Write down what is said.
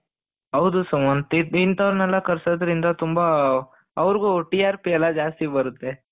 ಹೌದು ಸುಮಂತ್ ಇಂಥವರನ್ನೆಲ್ಲ ಕರ್ಸೋದ್ರಿಂದ ತುಂಬ ಅವರಿಗೂ TRP ಎಲ್ಲ ಜಾಸ್ತಿ ಬರುತ್ತೆ,